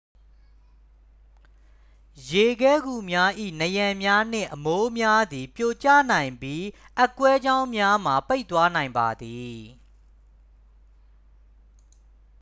ရေခဲဂူများ၏ နံရံများနှင့် အမိုးများသည် ပြိုကျနိုင်ပြီး အက်ကွဲကြောင်းများမှာ ပိတ်သွားနိုင်ပါသည်